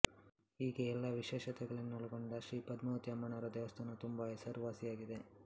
ಹೀಗೆ ಎಲ್ಲಾ ವಿಶೇಷತೆಯನ್ನೊಳಗೊಂಡ ಶ್ರೀ ಪದ್ಮಾವತಿ ಅಮ್ಮನವರ ದೇವಸ್ಥಾನವು ತುಂಬಾ ಹೆಸರುವಾಸಿಯಾಗಿದೆ